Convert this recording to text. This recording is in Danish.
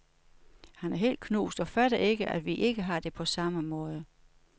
Han er helt knust og fatter ikke, at vi ikke har det på samme måde.